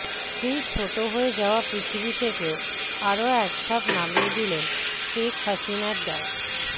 সেই ছোট হয়ে যাওয়া পৃথিবী থেকেও আরও একধাপ নামিয়ে দিলেন শেখ হাসিনা ড